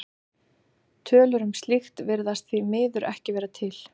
Tölur um slíkt virðast því miður ekki vera til.